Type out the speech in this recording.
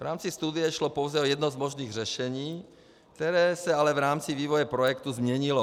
V rámci studie šlo pouze o jedno z možných řešení, které se ale v rámci vývoje projektu změnilo.